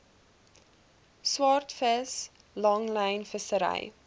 swaardvis langlyn vissery